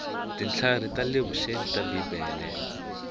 tintlhari ta le vuxeni ta bibele